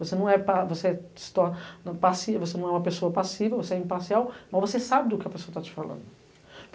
Você não é pa, você é se torna passiva, você não é uma pessoa passiva, você é imparcial, mas você sabe do que a pessoa está te falando.